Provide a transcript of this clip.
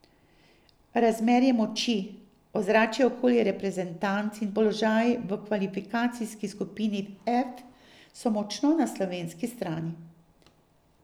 Razmerje moči, ozračje okoli reprezentanc in položaj v kvalifikacijski skupini F so močno na slovenski strani.